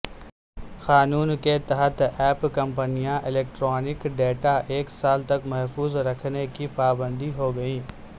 قانون کے تحت ایپ کمپنیاں الیکٹرانک ڈیٹاایک سال تک محفوظ رکھنے کی پابند ہوگئیں